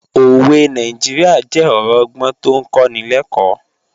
Òwe Nàìjíríà jẹ́ ọ̀rọ̀ ọgbọ́n tó ń kọ́ni lẹ́kọ̀ọ́